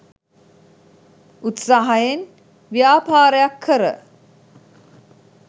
උත්සාහයෙන් ව්‍යාපාරයක් කර